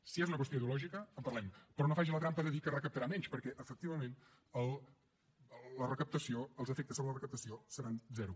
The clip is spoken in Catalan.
si és una qüestió ideològica en parlem però no faci la trampa de dir que recaptarà menys perquè efectivament en la recaptació els efectes sobre la recaptació seran zero